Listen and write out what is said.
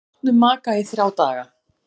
Með látnum maka í þrjá daga